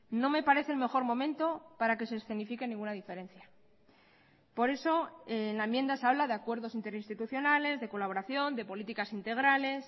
no me parece el mejor momento para que se escenifique ninguna diferencia por eso en la enmienda se habla de acuerdos interinstitucionales de colaboración de políticas integrales